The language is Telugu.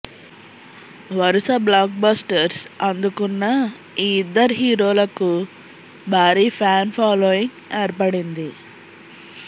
వరుస బ్లాక్ బస్టర్స్ అందుకున్న ఈ ఇద్దరు హీరోలకు భారీ ఫ్యాన్ ఫాలోయింగ్ ఏర్పడింది